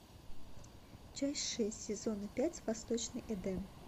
часть шесть сезона пять восточный эдем